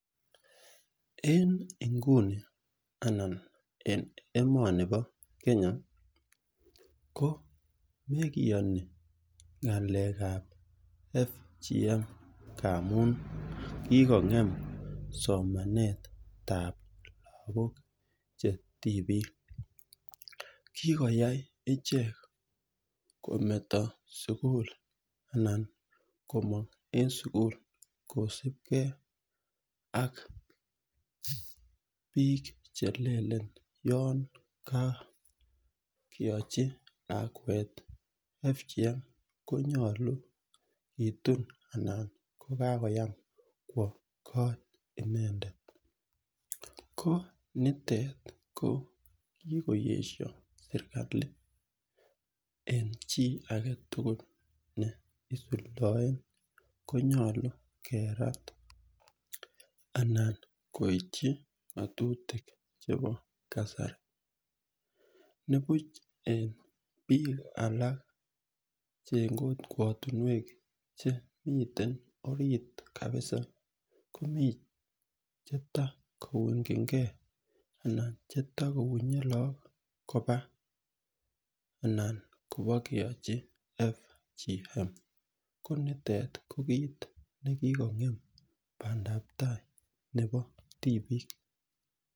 En inguni anan en emani pa Kenya ko mekiyani ng'alek ap FGM ngamun kikong'em somanetap lagok che tipik. Kikoyai ichek kometa sukul anan komang' eng' sukul kosupgei ak piik che lelen yon kakeachi lakwet FGM ko nyalu kitun anan ko kakoyam kowa kot inendet. Ko nitet ko kikoesha serkali en chi age tugul ne isudaen konyalu kerat anan koitchi ng'atutik chepo kasari. Ne puch en piik alak che en kokwatunwek che miten orit kapisa komi che tako ung'chingei anan che tako unye lagok kopa anan kopa keachi FGM . Ko nitet ko kiit ne kikong'em pandap tai nepo tipiik.